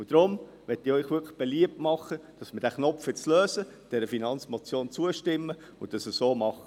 Deshalb möchte ich Ihnen wirklich beliebt machen, dass wir diesen Knoten jetzt lösen, dieser Finanzmotion zustimmen und dies so machen.